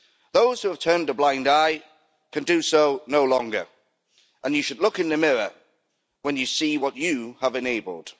Those who have turned a blind eye can do so no longer and you should look in the mirror when you see what you have enabled.